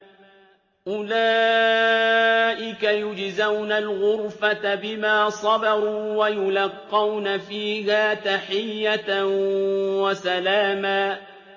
أُولَٰئِكَ يُجْزَوْنَ الْغُرْفَةَ بِمَا صَبَرُوا وَيُلَقَّوْنَ فِيهَا تَحِيَّةً وَسَلَامًا